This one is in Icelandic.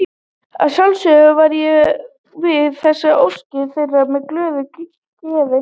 Að sjálfsögðu varð ég við þessari ósk þeirra með glöðu geði.